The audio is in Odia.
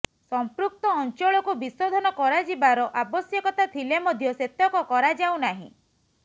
ସଂପୃକ୍ତ ଅଞ୍ଚଳକୁ ବିଶୋଧନ କରାଯିବାର ଆବଶ୍ୟକତା ଥିଲେ ମଧ୍ୟ ସେତକ କରାଯାଉ ନାର୍ହି